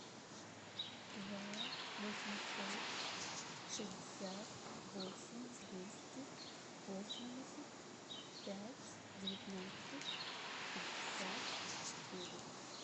два восемьсот шестьдесят восемь двести восемьдесят пять девятнадцать пятьдесят четыре